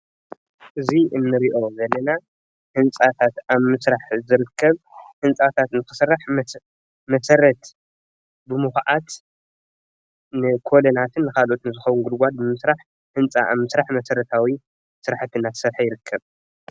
እዚ እንሪኦ ዘለና ህንፃታት ኣብ ምዝራሕ ዝርከብ ህንፃታት እንትስራሕ መሰረት ብምኽዓት ንኮለናትን ንካልኦትን ዝከውን ጉድጓድ ብምስራሕ ብምኩዓት ህንፃ ንምስራሕ መሰረታዊ እናተሰርሐ ይርከብ፡፡